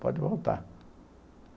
Pode voltar.